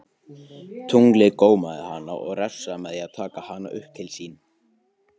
Tunglið gómaði hana og refsaði með því að taka hana upp til sín.